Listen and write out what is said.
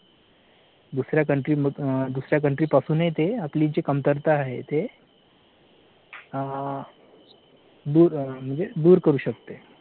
दुसऱ्या country दुसऱ्या country पासूनही ते आपली जे कमतरता आहे दूर म्हणजे दूर करू शकते